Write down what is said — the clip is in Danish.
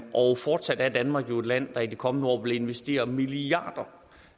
og fortsat er danmark jo et land der i de kommende år vil investere milliarder